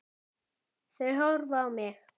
Þau horfa á mig.